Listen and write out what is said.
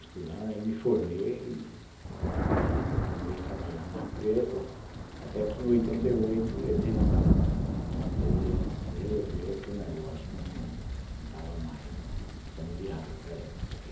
Estudando, aí me formei e continuei trabalhando na empresa, até que, em oitenta e oito, eles eles resolveram que o negócio não estava mais sendo viável para eles.